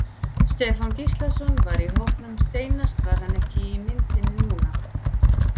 Stefán Gíslason var í hópnum seinast var hann ekki í myndinni núna?